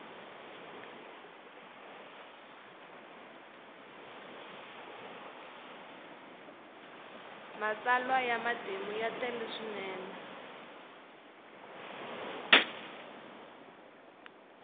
matsalwa ya matimu ya tele swinene